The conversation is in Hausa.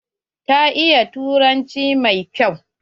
Ta iya turanci mai kyau.